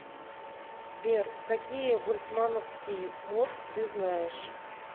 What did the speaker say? сбер какие больцмановский мозг ты знаешь